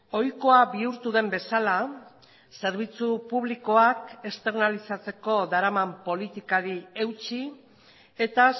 ohikoa bihurtu den bezala zerbitzu publikoak esternalizatzeko daraman politikari eutsi eta